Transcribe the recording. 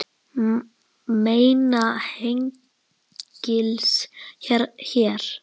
Mæna hengils hér.